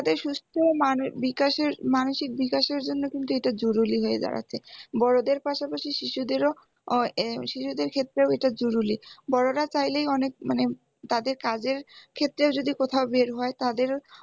তাদের সুস্থমানের বিকাশে মানসিক বিকাশের জন্য কিন্তু এটা জরুরি হয়ে দাড়াচ্ছে বড়দের পাশাপাশি শিশুদেরও উহ শিশুদের ক্ষেত্রেও এটা জরুরি বড়রা চাইলেই অনেক মানে তাদের তাদের ক্ষেত্রেও যদি কোথাও বের হয় তাদের